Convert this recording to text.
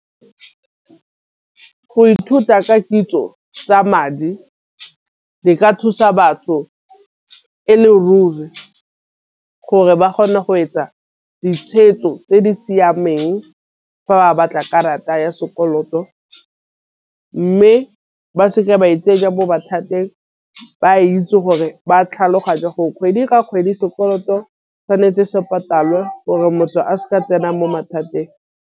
Go ithuta ka kitso tsa madi di ka thusa batho e le ruri gore ba kgone go etsa ditšhwetso tse di siameng. Fa ba batla karata ya sekoloto mme ba se ke ba itsenya mo mathateng ba itse gore ba tlhaloganya gore kgwedi le kgwedi sekoloto tšhwanetse se patalwe gore motho a seka tsena mo mathateng.